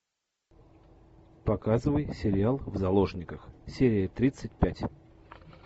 показывай сериал в заложниках серия тридцать пять